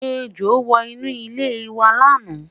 ẹjọ wò inú ile iwa laana